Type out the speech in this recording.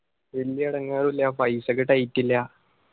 ഇല്ലാട ഇല്ല. paisa ക്ക് tight ഇല്ലാ.